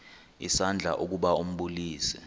isandla ukuba ambulise